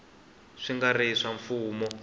swi nga ri swa mfumo